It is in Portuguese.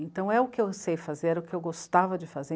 Então, é o que eu sei fazer, era o que eu gostava de fazer.